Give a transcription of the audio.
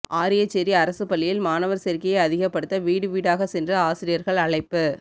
ஆரியச்சேரி அரசு பள்ளியில் மாணவர் சேர்க்கையை அதிகப்படுத்த வீடுவீடாக சென்று ஆசிரியர்கள் அழைப்பு